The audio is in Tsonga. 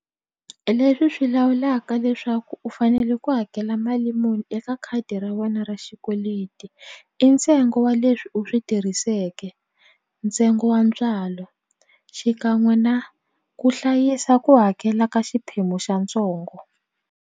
Leswi swi lawulaka leswaku u fanele ku hakela mali muni eka khadi ra wena ra xikweleti i ntsengo wa leswi u swi tirhiseke ntsengo wa ntswalo xikan'we na ku hlayisa ku hakela ka xiphemu xa ntsongo.